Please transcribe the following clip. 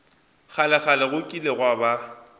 kgalekgale go kile gwa ba